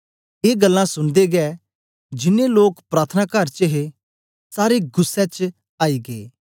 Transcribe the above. ए गल्लां सुनदे गै जिन्नें लोक प्रार्थनाकार कर च हे सारे गुस्सै च आई गै